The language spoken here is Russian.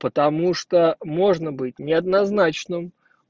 потому что можно быть неоднозначным